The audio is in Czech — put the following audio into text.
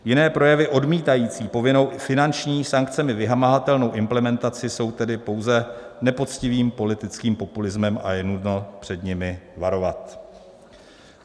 Jiné projevy odmítající povinnou finanční, sankcemi vymahatelnou implementaci jsou tedy pouze nepoctivým politickým populismem a je nutno před nimi varovat.